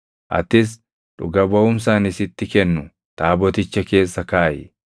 Atis dhuga baʼumsa ani sitti kennu Taaboticha keessa kaaʼi.